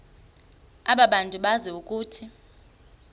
abantu bazi ukuba